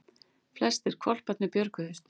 Flestir hvolparnir björguðust